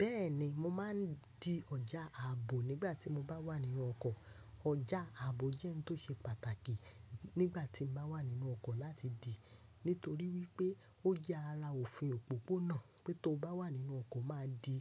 Bẹ́ẹ̀ni, mo máa ń di ọjà ààbò nígbà tí mo bá wà nínú ọkọ̀. Ọjà ààbò jẹ́ ohun tó ṣe pàtàkì nígbà tí mo bá wà nínú ọkọ̀ láti dì, nítorí wípé ó jẹ́ ara òfin òpópónà pé tó bá wà nínú ọkọ̀ má di